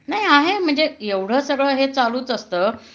नाही आहे म्हणजे एवढं सगळं हे चालूच असतं